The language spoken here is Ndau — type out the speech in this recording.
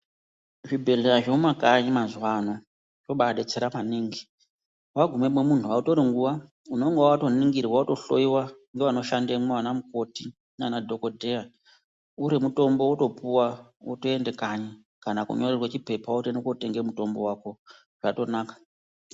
Zvibhedhlera zvemumakanyi mazuva ano zvobadetsera maningi wagumamo munhu hautori nguwa unenge watoningirwa wotohloiwa nevanoshandamo ana mukoti nemadhokodheya uri mutombo wotopuwa wotoenda kanyi kana kunyorerwa chipepa wotoenda kundotenga mutombo wako zvatonaka.